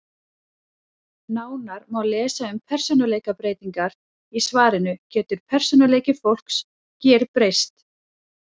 Nánar má lesa um persónuleikabreytingar í svarinu Getur persónuleiki fólks gerbreyst?